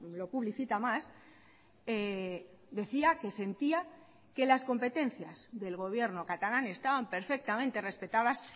lo publicita más decía que sentía que las competencias del gobierno catalán estaban perfectamente respetadas